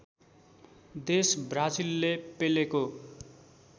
देश ब्राजिलले पेलेको